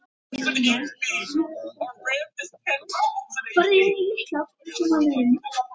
Vel gert, Valur.